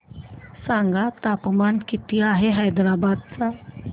सांगा तापमान किती आहे हैदराबाद चे